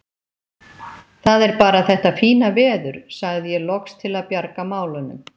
Það er bara þetta fína veður sagði ég loks til að bjarga málunum.